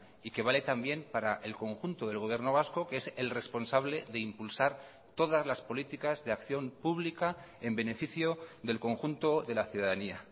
y que vale también para el conjunto del gobierno vasco que es el responsable de impulsar todas las políticas de acción pública en beneficio del conjunto de la ciudadanía